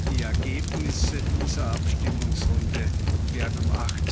Die Ergebnisse dieser Abstimmungsrunde werden um